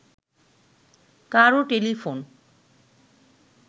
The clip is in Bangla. কারও টেলিফোন